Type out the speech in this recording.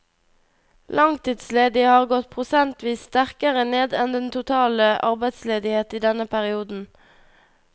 Langtidsledige har gått prosentvis sterkere ned enn den totale arbeidsledighet i denne perioden.